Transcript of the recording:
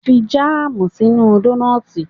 Fi jáàmù sínú dónọ́tì